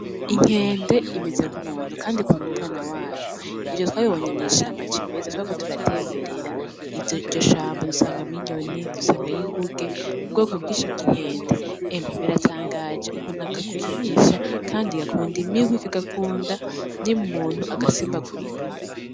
Inkende imeze nk’umuntu , kandi ikunda umwana wayo. Ivyo twabibonye mw’ishamba cimeza twariko turatemberera iryo shamba dusangamwo inyoni , dusangayo inguge, ubwoko bwinshi bw’Inkende . Emwe biratangaje ukuntu kagukinisha kandi gakunda imihwi kagakunda nyene umuntu agasimbagurika.